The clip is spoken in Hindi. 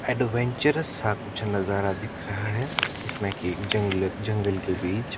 एडवेंचर्स नजारा दिख रहा है इसमें की जंगलक जंगल के बीच--